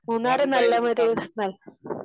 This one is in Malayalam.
മൂന്നാർ നല്ല ഒരു സ്ഥലം